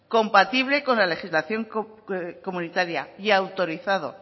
compatible con la legislación comunitaria y autorizada